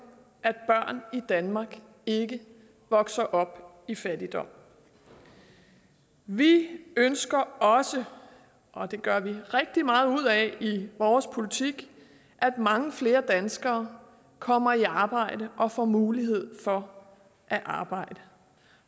at børn i danmark ikke vokser op i fattigdom vi ønsker også og det gør vi rigtig meget ud af i vores politik at mange flere danskere kommer i arbejde og får mulighed for at arbejde